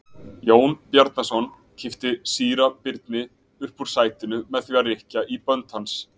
Jón Bjarnason kippti síra Birni upp úr sætinu með því að rykkja í bönd hans.